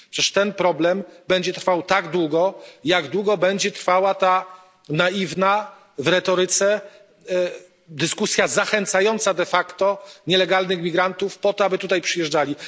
Przecież ten problem będzie trwał tak długo, jak długo będzie trwała ta naiwna w retoryce dyskusja zachęcająca nielegalnych migrantów do tego, aby tutaj przyjeżdżali.